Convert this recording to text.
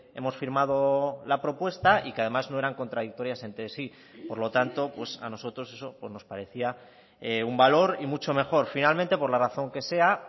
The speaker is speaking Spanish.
hemos firmado la propuesta y que además no eran contradictorias entre sí por lo tanto pues a nosotros eso pues nos parecía un valor y mucho mejor finalmente por la razón que sea